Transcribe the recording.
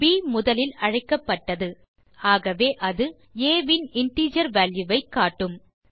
ப் முதலில் அழைக்கப்பட்டது ஆகவே அது ஆ இன் இன்டிஜர் வால்யூ ஐ காட்டும்